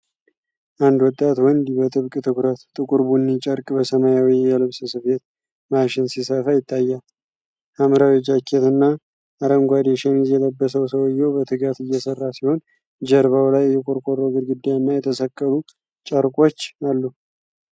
አንድ ወጣት ወንድ በጥብቅ ትኩረት ጥቁር ቡኒ ጨርቅ በሰማያዊ የልብስ ስፌት ማሽን ሲሰፋ ይታያል። ሐምራዊ ጃኬት እና አረንጓዴ ሸሚዝ የለበሰው ሰውዬው በትጋት እየሠራ ሲሆን፣ ጀርባው ላይ የቆርቆሮ ግድግዳ እና የተሰቀሉ ጨርቆች አሉ።